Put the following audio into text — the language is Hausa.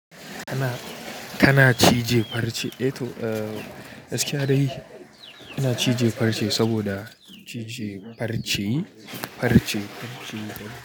Kana, kana cije farce, eh to, eh, gaskiya dai ina cije farce saboda cije farce farce.